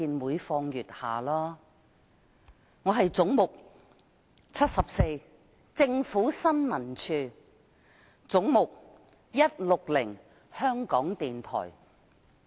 我現在就"總目 74― 政府新聞處"及"總目 160― 香港電台"發言。